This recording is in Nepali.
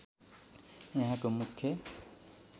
यहाँको मुख्य